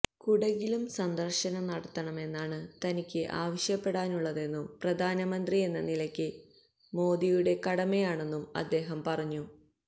കുടകിലും സന്ദര്ശനം നടത്തണമെന്നാണ് തനിക്ക് ആവശ്യപ്പെടാനുള്ളതെന്നും പ്രധാനമന്ത്രിയെന്ന നിലയില് മോദിയുടെ കടമയാണതെന്നും അദ്ദേഹം പറഞ്ഞു